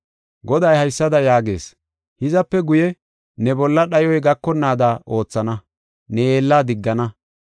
Goday haysada yaagees: “Hizape guye ne bolla dhayoy gakonnaada oothana; ne yeella diggana.